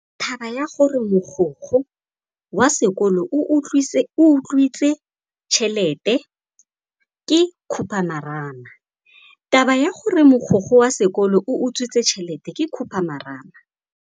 Taba ya gore mogokgo wa sekolo o utswitse tšhelete ke khupamarama.